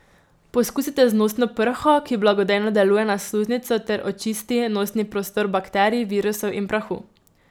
Poskusite z nosno prho, ki blagodejno deluje na sluznico ter očisti nosni prostor bakterij, virusov in prahu.